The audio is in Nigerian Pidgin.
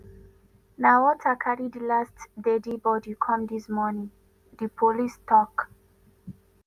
na water carry di last deadi bodi come dis morning” di police tok.